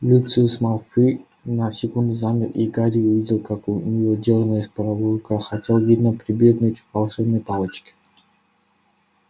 люциус малфой на секунду замер и гарри увидел как у него дёрнулась правая рука хотел видно прибегнуть к волшебной палочке